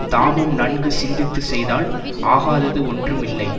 தாமும் நன்கு சிந்தித்து செய்தால் ஆகாதது ஒன்றுமில்லை